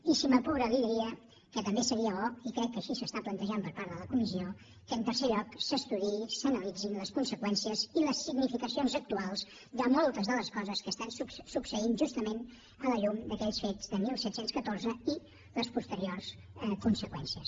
i si m’apura li diria que també seria bo i crec que així s’està plantejant per part de la comissió que en tercer lloc s’estudiïn i s’analitzin les conseqüències i les significacions actuals de moltes de les coses que estan succeint justament a la llum d’aquells fets de disset deu quatre i les posteriors conseqüències